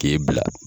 K'e bila